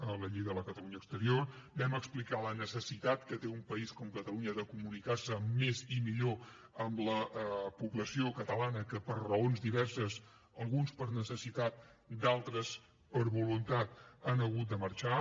a la llei de la catalunya exterior vam explicar la necessitat que té un país com catalunya de comunicar se més i millor amb la població catalana que per raons diverses alguns per necessitat d’altres per voluntat ha hagut de marxar